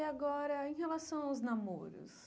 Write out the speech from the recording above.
E agora, em relação aos namoros?